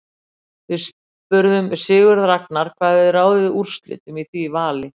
Við spurðum Sigurð Ragnar hvað hefði ráðið úrslitum í því vali.